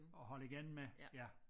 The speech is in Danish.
At holde igen med ja